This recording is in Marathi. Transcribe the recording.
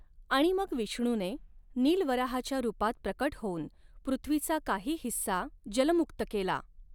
आणि मग विष्णूने नील वराहाच्या रूपात प्रकट होऊन पृथ्वीचा काही हिस्सा जलमुक्त केला.